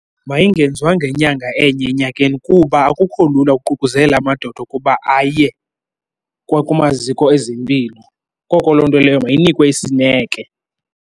Mayingenziwa ngenyanga enye enyakeni kuba akukho lula ukuququzelela amadoda ukuba aye kwakumaziko ezempilo, koko loo nto leyo mayinikwe isineke.